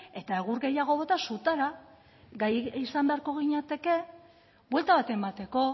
eta egur gehiago bota sutara gai izango beharko ginateke buelta bat emateko